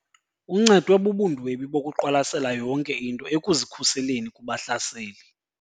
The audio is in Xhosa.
Uncedwe bubundwebi bokuqwalasela yonke into ekuzikhuseleni kubahlaseli.